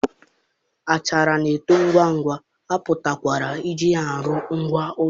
achara na-eto ngwa ngwa, a pụkwara iji ya rụọ ngwá ụlọ.